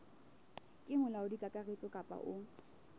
ke molaodi kakaretso kapa o